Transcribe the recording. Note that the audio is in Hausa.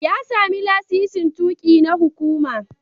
Ya sami lasisin tuƙi na hukuma.